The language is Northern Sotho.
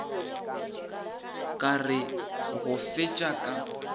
ka re go fetša ka